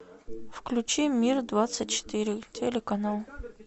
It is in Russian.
включи мир двадцать четыре телеканал